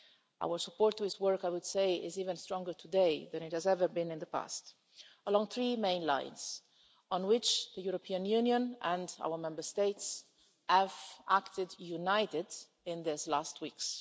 Our support for his work, I would say, is even stronger today than it has ever been in the past, along three main lines on which the European Union and our Member States have acted united in these last weeks.